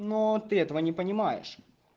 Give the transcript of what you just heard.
но ты этого не понимаешь